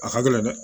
A ka gɛlɛn dɛ